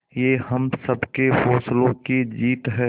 ये हम सबके हौसलों की जीत है